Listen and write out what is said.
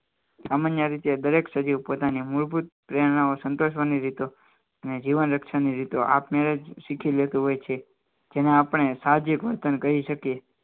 સામાન્ય રીતે દરેક સજીવ પોતાની મૂળભૂત પ્રેરણાઓ સંતોષવાની રીતો અને જીવન રક્ષણની રીતે આપમેળે જ શીખી લેતું હોય છે જેને આપણે સાવજ એક વર્તન કરી શકે